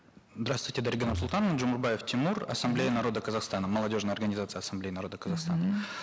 здравствуйте дарига нурсултановна джумурбаев тимур ассамблея народов казахстана молодежная организация ассамблеи народов казахстана мхм